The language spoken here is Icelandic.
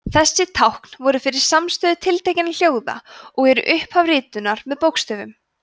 þessi tákn voru fyrir samstöfur tiltekinna hljóða og eru upphaf ritunar með bókstöfum